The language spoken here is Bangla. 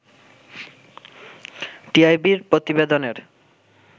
টিআইবি’র প্রতিবেদনের